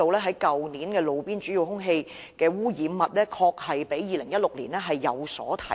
去年的路邊主要空氣污染物指數確實比2016年上升。